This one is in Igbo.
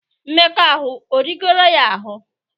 Mmekọahụ erigoro ya ahụ?